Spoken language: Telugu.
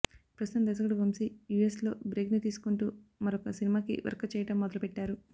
ప్రస్తుతం దర్శకుడు వంశీ యూఎస్ లో బ్రేక్ ని తీసుకుంటూ మరొక సినిమా కి వర్క్ చెయ్యడం మొదలుపెట్టారు